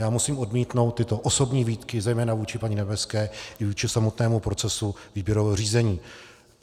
Já musím odmítnout tyto osobní výtky zejména vůči paní Nebeské i vůči samotnému procesu výběrového řízení.